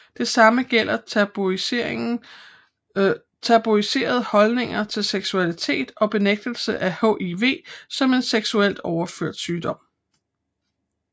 Det samme gælder tabuiserede holdninger til seksualitet og benægtelse af hiv som en seksuelt overført sygdom